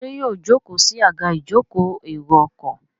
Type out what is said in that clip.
ṣe yíò joko sí Àga ìjókòó èrò ọkọ̀?